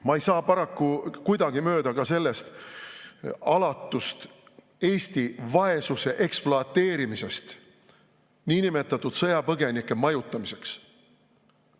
Ma ei saa paraku kuidagi mööda ka sellest alatust Eesti vaesuse ekspluateerimisest niinimetatud sõjapõgenike majutamiseks.